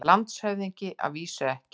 LANDSHÖFÐINGI: Að vísu ekki.